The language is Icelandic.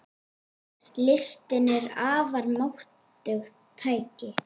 Listin er afar máttugt tæki.